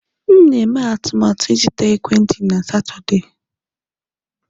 M na-eme atụmatụ ịzụta ekwentị na Satọde.